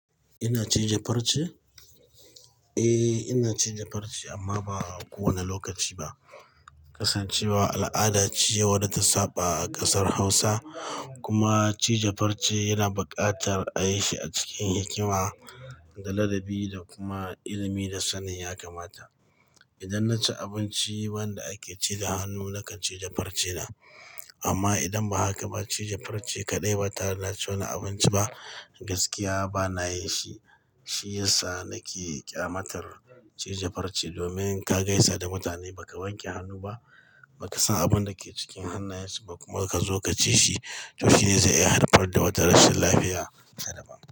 Ina cije farce? Eh, ina cije farce amma ba kowane lokaci ba. Kasancewa al'ada ce wadda ta saba a kasar Hausa kuma cije farce yana buƙatar a yi shi a cikin hikima da ladabi da kuma ilimi da sannin ya kamata. Idan na ci abinci wanda ake cire hannu, nakan cije farce na. Amma idan ba haka ba, cije farce kaɗai ba tare da ci wani abinci ba gaskiya ba na yin shi. Shi yasa nake ƙyamatar cije farce domin in ka gaisa da mutane ba ka wanke hannu ba, ba ka san abunda ke cikin hannayen su ba kuma ka zo ka ci shi, to shi zai iya haifar da matarashin lafiya sadaban.